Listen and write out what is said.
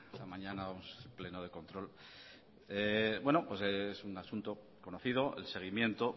la mañana o pleno de control bueno pues es un asunto conocido el seguimiento